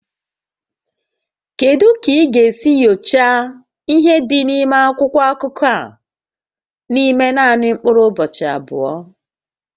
Kedu ka ị ga-esi nyochaa ihé dị n'akwụkwọ akụkọ a n'ime naanị mkpụrụ ụbọchị abụọ?